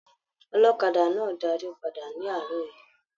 Ọlọ́kadà náà darí pàdà nì aarọ yìí.